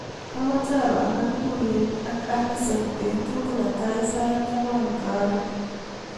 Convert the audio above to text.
Amache apangan tuiyet ak Allison betut netai sait ang'wan karon.